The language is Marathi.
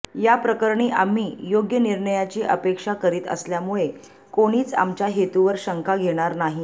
याप्रकरणी आम्ही योग्य निर्णयाची अपेक्षा करीत असल्यामुळे कोणीच आमच्या हेतूवर शंका घेणार नाही